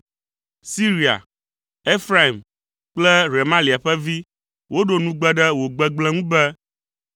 Siria, Efraim kple Remalia ƒe vi woɖo nugbe ɖe wò gbegblẽ ŋu be,